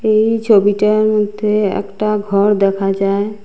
এই ছবিটার মধ্যে একটা ঘর দেখা যায়।